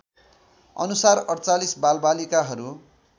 अनुसार ४८ बालबालिकाहरू